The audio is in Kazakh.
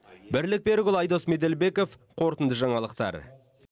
бірлік берікұлы айдос меделбеков қорытынды жаңалықтар